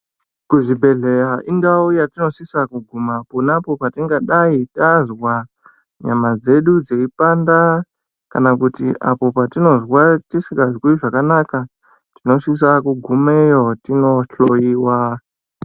Kuzvibhehleya indau yetinosisa kuguma ponapo petinenga tazwa nyama dzedu dzichipanda kana kuti apo patinozwa tisingazwi zvakanaka tinosisa kugumayo tinohloyiwa.